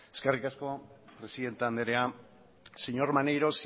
eskerrik asko presidente andrea señor maneiro